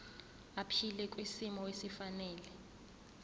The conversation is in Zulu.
aphile kwisimo esifanele